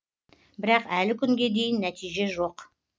бірақ әлі күнге дейін нәтиже жоқ